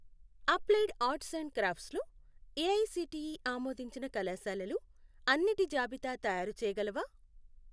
Applied arts and crafts లో AICTE ఆమోదించిన కళాశాలలు అన్నిటి జాబితా తయారుచేయగలవా?